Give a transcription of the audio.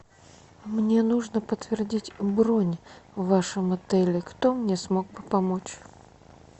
мне нужно подтвердить бронь в вашем отеле кто мне смог бы помочь